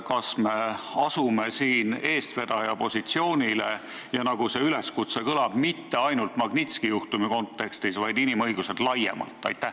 Kas me asume siin eestvedaja positsioonile ja, nagu see üleskutse kõlab, mitte ainult Magnitski juhtumi kontekstis, vaid laiemalt inimõiguste kontekstis?